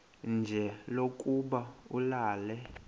nje lokuba ulale